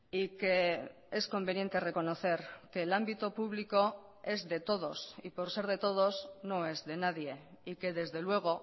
y que es conveniente reconocer que el ámbito público es de todos y por ser de todos no es de nadie y que desde luego